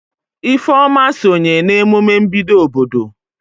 Ifeoma sonye na emume mbido obodo.